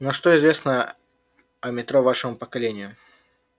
ну а что известно о метро вашему поколению